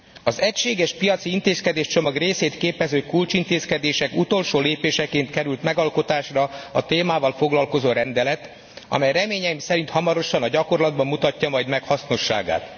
Az egységes piaci intézkedéscsomag részét képező kulcsintézkedések utolsó lépéseként került megalkotásra a témával foglalkozó rendelet, amely reményeim szerint hamarosan a gyakorlatban mutatja majd meg hasznosságát.